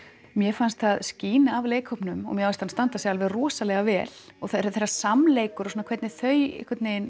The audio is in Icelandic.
mér fannst það skína af leikhópnum og mér fannst hann standa sig alveg rosalega vel og þegar samleikur og hvernig þau